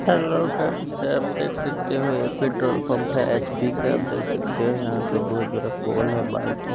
Hello guys आप देख सकते हो ये पेट्रोल पंप है एच_पी का आप देख सकते हो यहां पे बहोत बड़ा पोल है बाइक है।